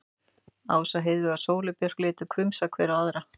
Ása, Heiðveig og Sóley Björk litu hvumsa hver á aðra.